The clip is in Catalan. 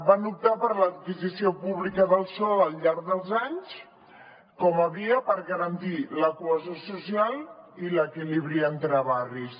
van optar per l’adquisició pública del sòl al llarg dels anys com a via per garantir la cohesió social i l’equilibri entre barris